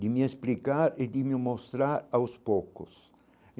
de me explicar e de me mostrar aos poucos.